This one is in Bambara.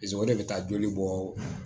o de bɛ taa joli bɔ